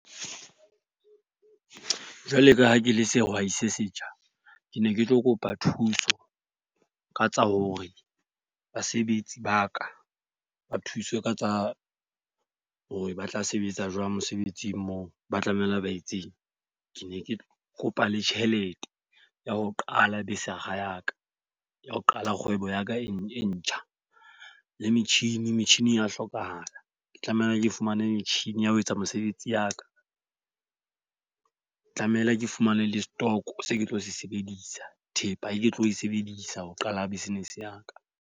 Jwalo ka ha ke le sehwai se setjha, ke ne ke tlo kopa thuso ka tsa hore basebetsi ba ka ba thuswe ka tsa hore ba tla sebetsa jwang mosebetsing moo ba tlamehile ba etseng. Ke ne ke kopa le tjhelete ya ho qala besakga ya ka, ya ho qala kgwebo ya ka e ntjha. Le metjhini, metjhini e ya hlokahala. Ke tlamehile ke fumane metjhini ya ho etsa mesebetsi ya ka. Tlamehile ke fumane le stock seo ke tlo se sebedisa, thepa e ke tlo e sebedisa ho qala business ya ka.